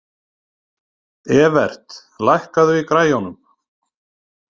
Evert, lækkaðu í græjunum.